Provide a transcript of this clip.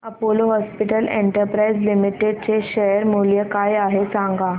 Apollo hospitals enterprise limited चे share मूल्य काय आहे सांगा